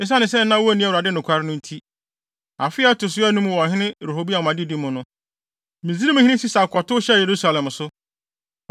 Esiane sɛ na wonni Awurade nokware no nti, afe a ɛto so anum wɔ ɔhene Rehoboam adedi mu no, Misraimhene Sisak kɔtow hyɛɛ Yerusalem so.